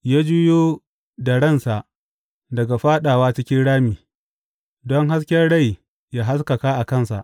Ya juyo da ransa daga fāɗawa cikin rami, don hasken rai ya haskaka a kansa.